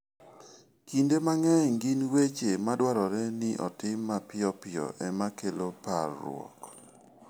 Kinde mang'eny gin weche madwarore ni otim mapiyo piyo ema kelo parruok.